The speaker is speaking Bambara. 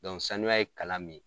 sanuya ye kalan min ye